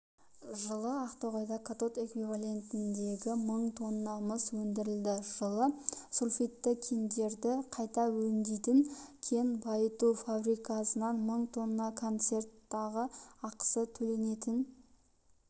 жылы ақтоғайда катод эквивалентіндегі мың тонна мыс өндірілді жылы сульфидті кендерді қайта өңдейтін кен байыту фабрикасынан мың тонна концентраттағы ақысы төленетін